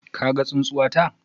Ka gan tsunsuwata?